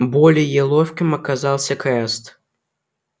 более ловким оказался краст